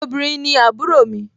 obìrin ni àbúrò mi